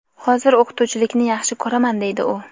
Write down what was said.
hozir o‘qituvchilikni yaxshi ko‘raman deydi u.